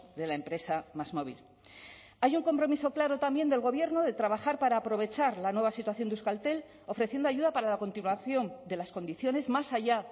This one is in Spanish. de la empresa másmóvil hay un compromiso claro también del gobierno de trabajar para aprovechar la nueva situación de euskaltel ofreciendo ayuda para la continuación de las condiciones más allá